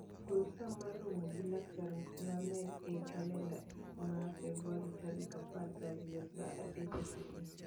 gol saa mar romo gi laktar namede e kalenda ma febuar tarik apargi ariyo saa adek okinyi